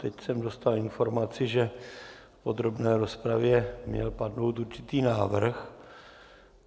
Teď jsem dostal informaci, že v podrobné rozpravě měl padnout určitý návrh.